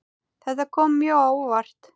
Þetta kom mjög á óvart.